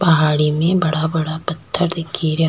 पहाड़ी में बड़ा बड़ा पथ्थर दिखे रा।